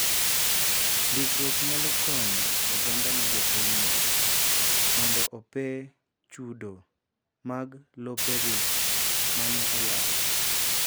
Ndikruok nyalo konyo oganda ma jopinyno mondo ope chudo mag lopegi ma ne olal.